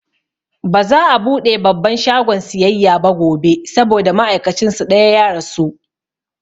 Baza'a buɗe babban shagon siyayya ba gobe saboda ma'aikacin su ɗaya ya rasu